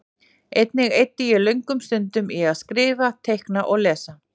Einnig eyddi ég löngum stundum í að skrifa, teikna og lesa.